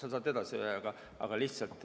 Okei!